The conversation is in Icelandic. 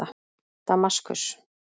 Damaskus